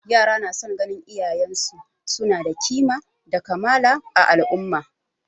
Yara na son ganin iyayen su na da kima da kamala a al'umma